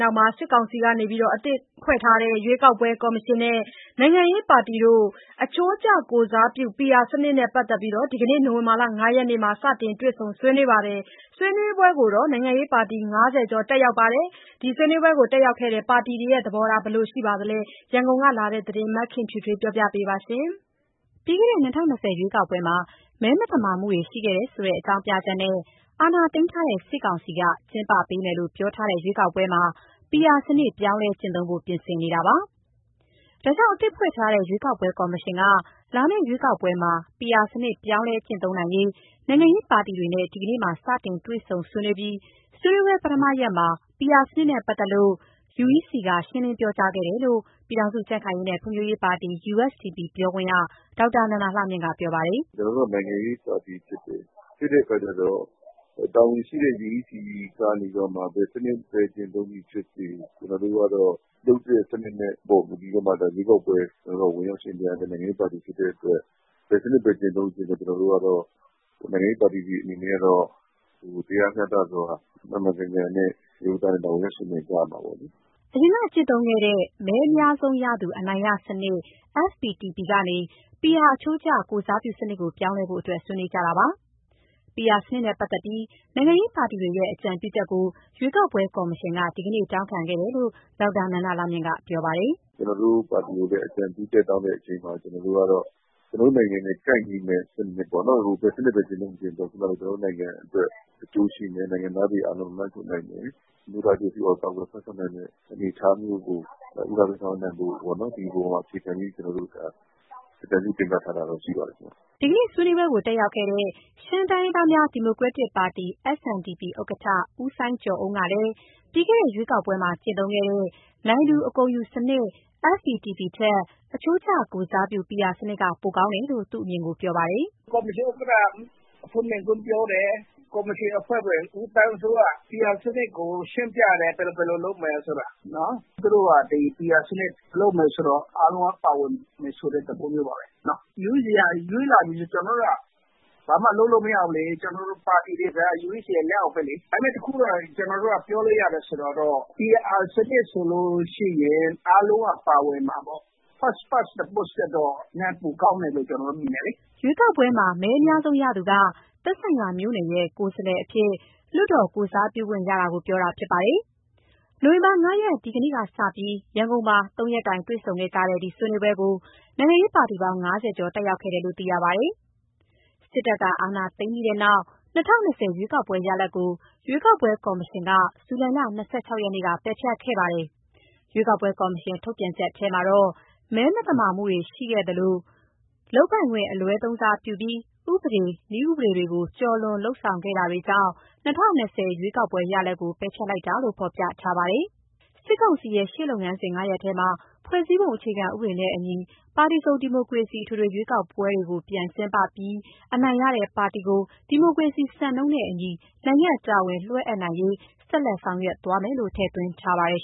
နောက် စစ်ကောင်စီက အသစ်ဖွဲ့ထားတဲ့ ရွေးကောက်ပွဲကော်မရှင်နဲ့ နိုင်ငံရေးပါတီတွေ အချိုးကျကိုယ်စားပြုမှု PR စနစ်နဲ့ပတ်သက်ပြီး ဒီကနေ့ နိုဝင်ဘာ ၅ ရက် မှာ စတင်တွေ့ဆုံ ဆွေးနွေးခဲ့ကြပါတယ်။ ဆွေးနွေးပွဲကို နိုင်ငံရေးပါတီ ၅၀ ကျော် တက်ရောက်ခဲ့ကြပါတယ်။ ဒီဆွေးနွေးပွဲ တက်ရောက်ခဲ့တဲ့ ပါတီတွေရဲ့ သဘောထားက ဘယ်လိုရှိနေပါသလဲ၊ ရန်ကုန်ကလာတဲ့ သတင်းကို မခင်ဖြူထွေးက တင်ပြပေးထားပါတယ်။ ပြီးခဲ့တဲ့ ၂၀၂၀ ရွေးကောက်ပွဲမှာ မဲမသမာမှုတွေ ရှိခဲ့တယ်ဆိုတဲ့ အကြောင်းပြချက်နဲ့ အာဏာသိမ်းထားတဲ့ စစ်ကောင်စီက ကျင်းပပေးမယ်လို့ ပြောထားတဲ့ ရွေးကောက်ပွဲမှာ PR စနစ် ပြောင်းလဲကျင့်သုံးဖို့ပြင်ဆင်နေတာပါ။ ဒါကြောင့် အသစ်ဖွဲ့ထားတဲ့ရွေးကောက်ပွဲကော်မရှင်က လာမယ့် ရွေးကောက်ပွဲမှာ PR စနစ် ပြောင်းလဲကျင့်သုံးနိုင်ရေး နိုင်ငံရေးပါတီတွေနဲ့ ဒီကနေ့မှာ စတင်တွေ့ဆုံ ဆွေးနွေးခဲ့ပြီး ဆွေးနွေးပွဲပထမရက်မှာ PR စနစ်နဲ့ ပတ်သက်ပြီး UEC က ရှင်းလင်းပြောကြားခဲ့တယ်လို့ ပြည်ထောင်စု ကြံ့ခိုင်ရေးနဲ့ ဖွံ့ဖြိုးရေးပါတီ USDP ပြောခွင့်ရ ဒေါက်တာနန္ဒာလှမြင့်က ပြောပါတယ်။ "ကျနော်တို့က နိုင်ငံရေးပါတီဖြစ်တဲ့အခါကျတော့ တာဝန်ရှိတဲ့ UEC ကနေပြီးတော့မှ ဘယ်စနစ်ကျင့်သုံးသည်ဖြစ်စေ၊ ကျနော်တို့ကတော့ လုပ်တဲ့စနစ်ပေါ် မူတည်ပြီးတော့မှ ရွေးကောက်ပွဲဝင်ရောက် ယှဉ်ပြိုင်ရတဲ့ နိုင်ငံရေးပါတီ ဖြစ်တဲ့အတွက် ဘယ်စနစ်ပဲ ကျင့်သုံးကျင့်သုံး ကျနော်တို့ နိုင်ငံရေးပါတီတွေအနေနဲ့ကတော့ တရားမျှတစွာ မှန်မှန်ကန်ကန်နဲ့ ဝင်ရောက်ယှဉ်ပြိုင် ကြရမှာပေါ့လေ။" အရင်က ကျင့်သုံးခဲ့တဲ့ မဲအများဆုံးရသူ အနိုင်ရစနစ် FPTP ကနေ PR အချိုးကျ ကိုယ် စားပြုစနစ်ကို ပြောင်းလဲဖို့အတွက် ဆွေးနွေးနေကြတာပါ။ PR စနစ်နဲ့ပတ်သက်ပြီး နိုင်ငံရေးပါတီတွေရဲ့ အကြံပြုချက်ကို ရွေးကောက်ပွဲကော်မရှင်က ဒီနေ့ တောင်းခံခဲ့တယ်လို့ ဒေါက်တာနန္ဒာလှမြင့်က ပြောပါတယ်။ "ကျနော်တို့ပါတီကို အကြံပြုချက်တောင်းတဲ့အချိန်မှာ ကျနော်တို့ကတော့ ကျနော်တို့နိုင်ငံနဲ့ ကိုက်ညီမယ့် ဘယ်စနစ်ပဲ ကျင့်သုံးကျင့်သုံး အဓိကတော့ ကျနော်တို့နိုင်ငံအတွက် အကျိုးရှိမယ်၊ နိုင်ငံသားတွေ အားလုံးကိုလွှမ်းခြုံနိုင်မယ်၊ အမျိုးသား အကျိုးစီးပွားကို ကာကွယ်စောင့်ရှောက်နိုင်မယ့် အနေအထားမျိုးကို ဦးစားပေးဆောင်ရွက်နိုင်ဖို့ပေါ့။ ဒီအပေါ်မှာ အခြေခံပြီး ကျနော်တို့အကြံပြု တင်ပြထားတာတော့ ရှိပါတယ်။" ဒီကနေ့ ဆွေးနွေးပွဲကို တက်ရောက်ခဲ့တဲ့ ရှမ်းတိုင်းရင်းသားများ ဒီမိုကရက်တစ်ပါတီ SNDP ဥက္ကဋ္ဌ ဦးစိုင်းကျော်အုန်းကလည်း ပြီးခဲ့တဲ့ ရွေးကောက်ပွဲမှာကျင့်သုံးခဲ့တဲ့ နိုင်သူအကုန်ယူစနစ် (FPTP) ထက် အချိုးကျကိုယ်စားပြု PR စနစ်က ပိုကောင်းတယ်လို့ သူ့အမြင်ကို ပြောပါတယ်။ "ကော်မရှင်ဥက္ကဋ္ဌ အဖွင့်မိန့်ခွန်းပြောတယ်။ ကော်မရှင်အဖွဲ့ဝင် ဦးသန်းစိုးက PR စနစ်ကို ရှင်းပြတယ်၊ ဘယ်လိုလုပ်မယ်ဆိုတာ။ သူတို့က PR စနစ်လုပ်မယ်ဆိုတော့ အားလုံးက ပါဝင်မယ်ဆိုတဲ့ သဘောမျိုးပါပဲ။ UEC က ရွေးလာပြီဆိုရင် ကျနော်တို့က ဘာမှလုပ်လို့ မရဘူးလေ။ ကျနော်တို့ ပါတီတွေဆိုတာက UEC ရဲ့ လက်အောက်ပဲလေ။ ဒါပေမယ့် တခုကတော့ ကျနော်တို့က ပြောလို့ရတယ် ဆိုတာတော့ PR စနစ်ဆိုလို့ရှိရင် အားလုံးက ပါဝင်မှာပေါ့။ First Past the Post ထက်တော့ နည်းနည်းပိုကောင်းတယ်လို့ ကျနော်တို့မြင်တယ်လေ။" ရွေးကောက်ပွဲမှာ မဲအများဆုံးရသူက သက်ဆိုင်ရာမြို့နယ်ရဲ့ ကိုယ်စားလှယ်အဖြစ် လွှတ်တော် ကိုယ်စားပြုခွင့်ရတာကို ပြောတာဖြစ်ပါတယ်။ နိုဝင်ဘာ ၅ ရက် ဒီကနေ့ကစပြီး ရန်ကုန်မှာ ၃ ရက်တိုင် တွေ့ဆုံကြတဲ့ ဒီဆွေးနွေးပွဲကို နိုင်ငံရေးပါတီပေါင်း ၅၀ ကျော် တက်ရောက်ခဲ့တယ်လို့ သိရပါတယ်။ စစ်တပ်က အာဏာသိမ်းခဲ့ပြီးနောက် ၂၀၂၀ ရွေးကောက်ပွဲရလဒ်ကို ရွေးကောက်ပွဲကော်မရှင်က ဇူလိုင်လ ၂၆ ရက်နေ့က ပယ်ဖျက်ခဲ့ပါတယ်။ ရွေးကောက်ပွဲကော်မရှင် ထုတ်ပြန် ချက်ထဲမှာတော့ မဲမသမာမှုတွေ တွေ့ရှိခဲ့သလို လုပ်ပိုင်ခွင့် အလွဲသုံးစားပြုပြီး ဥပဒေ၊ နည်းဥပဒေတွေကို ကျော်လွန်ဆောင်ရွက်ခဲ့တာတွေကြောင့် ၂၀၂၀ ရွေးကောက်ပွဲရလဒ်ကို ပယ်ဖျက်လိုက်တာလို့ ဖော်ပြထားပါတယ်။ စစ်ကောင်စီရဲ့ ရှေ့လုပ်ငန်းစဉ် ၅ ရပ်ထဲမှာ ဖွဲ့စည်းပုံအခြေခံဥပဒေနဲ့အညီ ပါတီစုံဒီမိုကရေစီ အထွေထွေရွေးကောက်ပွဲကို ပြန်ကျင်းပပြီး အနိုင်ရတဲ့ပါတီကို ဒီမိုကရေစီစံနှုန်းနဲ့ အညီ နိုင်ငံ့တာဝန်လွှဲအပ်နိုင်ရေး ဆက်လက်ဆောင်ရွက်သွားမယ်လို့ ထည့်သွင်းထားပါတယ်